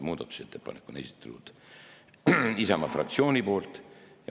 Muudatusettepaneku on esitanud Isamaa fraktsioon.